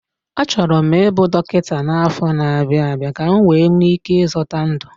Achọrọ m ịbụ dọkịta n'afọ na-abịa abịa ka m nwee ike ịzọta ndụ